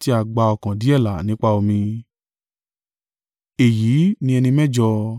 tí a gba ọkàn díẹ̀ là nípa omi, èyí ni ẹni mẹ́jọ.